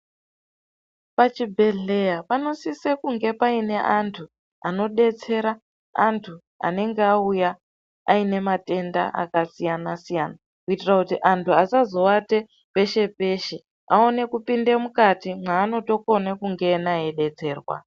Pachibhedhleya panosisa kunge paine antu anodetsera anthu anenge auya aine matenda akasiyana- siyana, kuitira kuti antu asazowata peshe peshe vaone kupinde mukati mwaanotokone kungena eidetserwa.